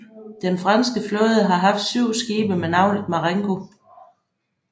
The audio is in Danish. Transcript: Den franske flåde har haft syv skibe med navnet Marengo